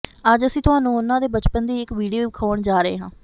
ਅੱਜ ਅਸੀਂ ਤੁਹਾਨੂੰ ਉਨ੍ਹਾਂ ਦੇ ਬਚਪਨ ਦੀ ਇੱਕ ਵੀਡੀਓ ਵਿਖਾਉਣ ਜਾ ਰਹੇ ਹਾਂ